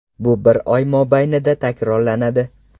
Bu bir oy mobaynida takrorlanadi.